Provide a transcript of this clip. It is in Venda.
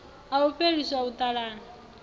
a u fheliswa u talana